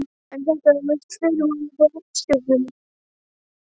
En þetta voru víst fyrirmæli frá herstjórninni.